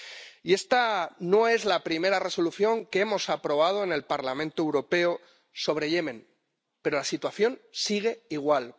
Y esta no es la primera Resolución que hemos aprobado en el Parlamento Europeo sobre Yemen, pero la situación sigue igual.